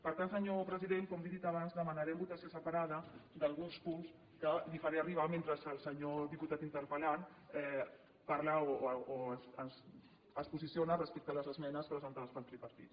per tant senyor president com li he dit abans demanarem votació separada d’alguns punts que li faré arribar mentre el senyor diputat interpel·lant parla o es posiciona respecte a les esmenes presentades pel tripartit